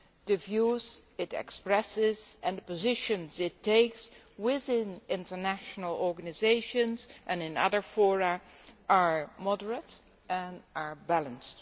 The views it expresses and the positions it takes within international organisations and in other fora are moderate and balanced.